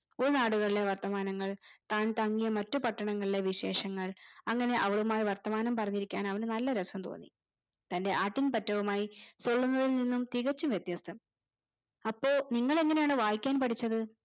ഉൽ നാടുകളിലെ വർത്തമാനങ്ങൾ താൻ തങ്ങിയ മറ്റുപട്ടണങ്ങളിലെ വിശേഷങ്ങൾ അങ്ങനെ അവളുമായി വർത്തമാനം പറഞ്ഞിരിക്കാൻ അവന് നല്ല രസം തോന്നി. തന്റെ ആട്ടിൻപറ്റവുമായി സൊള്ളുന്നതിൽ നിന്നും തികച്ചും വ്യത്യസ്തം അപ്പൊ നിങ്ങൾ എങ്ങനെയാണ് വായിക്കാൻ പഠിച്ചത്